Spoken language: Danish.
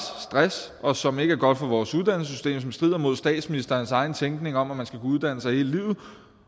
stress og som ikke er godt for vores uddannelsessystem og som strider mod statsministerens egen tænkning om at man skal kunne uddanne sig hele livet